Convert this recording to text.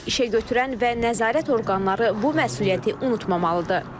İşəgötürən və nəzarət orqanları bu məsuliyyəti unutmamalıdır.